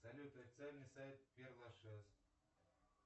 салют официальный сайт пер лашез